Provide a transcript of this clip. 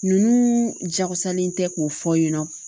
Ninnu jakosalen tɛ k'u fɔ yen nɔ